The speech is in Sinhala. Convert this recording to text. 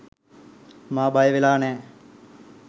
මා බයවෙලා නැහැ